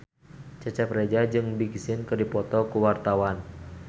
Cecep Reza jeung Big Sean keur dipoto ku wartawan